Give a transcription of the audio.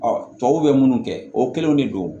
tubabuw bɛ munnu kɛ o kelenw de don